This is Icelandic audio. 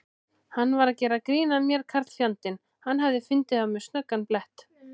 Hann var að gera grín að mér karlfjandinn, hann hafði fundið á mér snöggan blett.